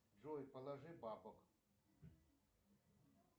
джой положи бабок